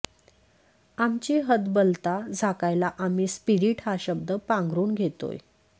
आमची हतबलता झाकायला आम्ही स्पिरीट हा शब्द पांघरून घेतोय